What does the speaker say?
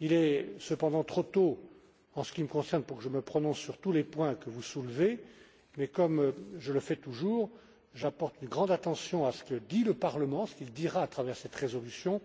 Il est cependant trop tôt, en ce qui me concerne, pour que je me prononce sur tous les points que vous soulevez, mais, comme je le fais toujours, j'apporterai une grande attention à ce que dit le Parlement, à ce qu'il dira à travers cette résolution,